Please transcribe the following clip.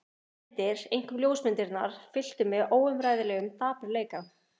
Þessar myndir, einkum ljósmyndirnar, fylltu mig óumræðilegum dapurleika.